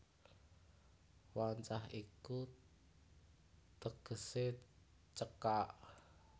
Wancah iku tegesé cekak